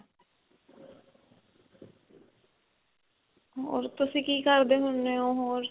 ਹੋਰ ਤੁਸੀਂ ਕੀ ਕਰਦੇ ਹੁੰਨੇ ਓ ਹੋਰ